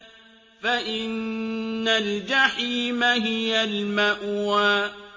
فَإِنَّ الْجَحِيمَ هِيَ الْمَأْوَىٰ